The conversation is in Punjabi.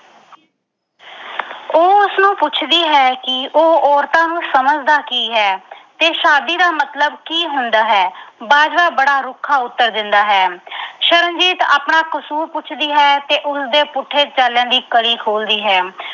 ਤੂੰ ਪੁੱਛਦੀ ਹੈਂ ਕਿ ਉਹ ਔਰਤਾਂ ਨੂੰ ਸਮਝਦਾ ਕੀ ਹੈ ਤੇ ਸ਼ਾਦੀ ਦਾ ਮਤਲਬ ਕੀ ਹੁੰਦਾ ਹੈ। ਬਾਜਵਾ ਬੜਾ ਰੁੱਖਾ ਉਤਰ ਦਿੰਦਾ ਹੈ। ਸ਼ਰਨਜੀਤ ਆਪਣਾ ਕਸੂਰ ਪੁੱਛਦੀ ਹੈ ਤੇ ਉਸਦੇ ਪੁੱਠੇ ਚਾਲਿਆਂ ਦੀ ਕੜੀ ਖੋਲਦੀ ਹੈ।